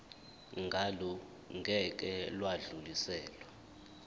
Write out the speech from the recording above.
ngalo ngeke lwadluliselwa